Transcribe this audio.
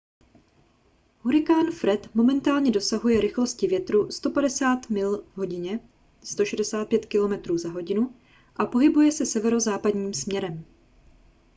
hurikán fred momentálně dosahuje rychlosti větru 150 mil v hodině 165 km/h a pohybuje se severozápadním směrem